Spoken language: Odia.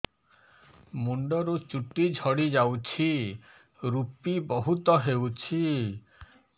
ମୁଣ୍ଡରୁ ଚୁଟି ଝଡି ଯାଉଛି ଋପି ବହୁତ ହେଉଛି